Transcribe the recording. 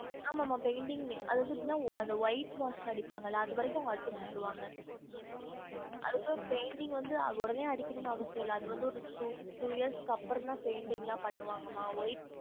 ஆமா மா painting லே அதாவது எப்படினா அந்த white wash அடிப்பாங்களா அது வரைக்கு அவங்க அடிச்சி குடுத்துருவாங்க அதுக்கு அப்ரோ painting வந்து உடனே அடிக்கனும்னு அவசியம் இல்ல அது வந்து ஒரு two two year க்கு அப்ரோ தான் painting லாம் பண்ணுவாங்க மா white